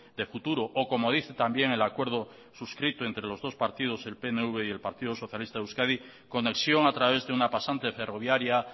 de futuro o como dice también el acuerdo suscrito entre los dos partidos el pnv y el partido socialista de euskadi conexión a través de una pasante ferroviaria